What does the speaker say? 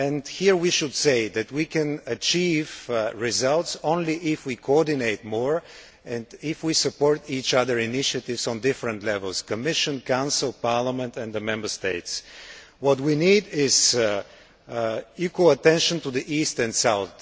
Here, we should say that we can only achieve results if we coordinate more and if we support each other's initiatives at different levels Commission, Council, Parliament and the Member States. We need to pay equal attention to the East and South.